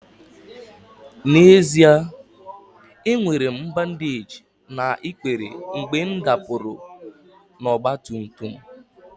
N'ezie, enwere m bandeeji na ikpere m mgbe m dapụrụ n'ọgba tum tum m